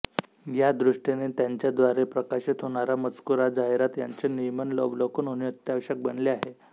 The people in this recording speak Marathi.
या दृष्टीने त्यांच्याद्वारे प्रकाशित होणारा मजकूरजाहिराती यांचे नियमित अवलोकन होणे अत्यावश्यक बनले आहे